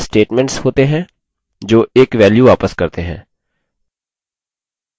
functions statements वक्तव्य होते हैं जो एक value वापस करते हैं